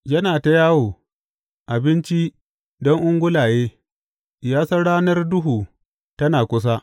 Yana ta yawo, abinci don ungulaye; ya san ranar duhu tana kusa.